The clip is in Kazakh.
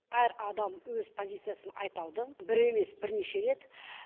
әр адам өз позициясын айта алды бір емес бірнеше рет